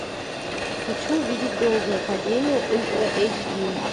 хочу увидеть долгое падение ультра эйч ди